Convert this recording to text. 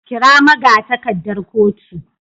kira magatakardar kotu.